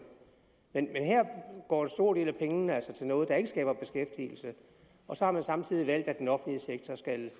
men her går en stor del af pengene altså til noget der ikke skaber beskæftigelse og så har man samtidig valgt at den offentlige sektor skal